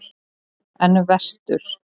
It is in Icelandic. En vestur?